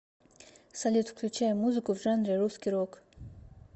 салют включай музыку в жанре русский рок